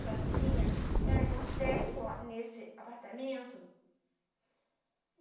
sozinha, eram uns dez só nesse apartamento.